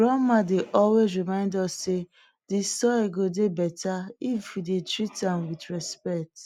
grandma dey always remind us say de soil go dey better if we dey treat am with respect